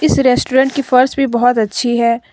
इस रेस्टोरेंट की फर्श भी बहुत अच्छी है।